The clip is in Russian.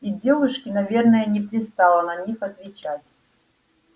и девушке наверное не пристало на них отвечать